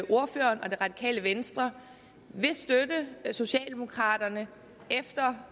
ordføreren og det radikale venstre vil støtte socialdemokraterne efter